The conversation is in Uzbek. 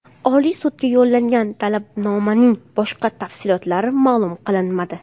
Oliy sudga yo‘llangan talabnomaning boshqa tafsilotlari ma’lum qilinmadi.